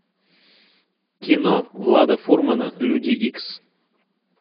кино влада фурмана люди икс